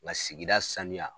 Nga sigida sanuya